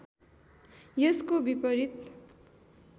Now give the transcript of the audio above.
यसको विपरीत